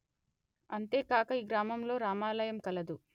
అంతే కాక ఈ గ్రామంలో రామాలయం కలదు